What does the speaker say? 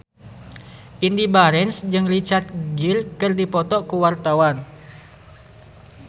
Indy Barens jeung Richard Gere keur dipoto ku wartawan